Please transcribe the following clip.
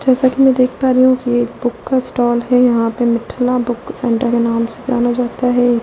जैसा कि मैं देख पा रही हूं कि एक बुक का स्टॉल है यहां पे मिठला बुक सेंटर के नाम से जाना जाता है।